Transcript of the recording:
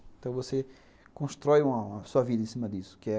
Então, você constrói uma uma sua vida em cima disso, que é...